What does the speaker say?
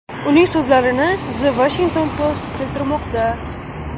Uning so‘zlarini The Washington Post keltirmoqda .